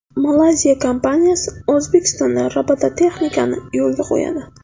Malayziya kompaniyasi O‘zbekistonda robototexnikani yo‘lga qo‘yadi.